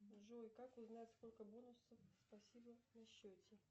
джой как узнать сколько бонусов спасибо на счете